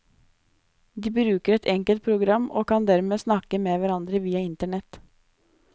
De bruker et enkelt program og kan dermed snakke med hverandre via internet.